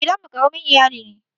Gidan mu ƙaramin iyali ne.